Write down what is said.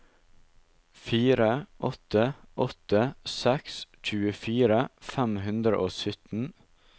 fire åtte åtte seks tjuefire fem hundre og sytten